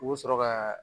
U bɛ sɔrɔ ka